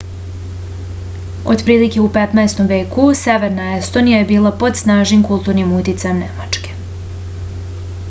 otprilike u 15. veku severna estonija je bila pod snažnim kulturnim uticajem nemačke